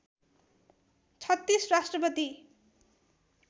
३६ राष्ट्रपति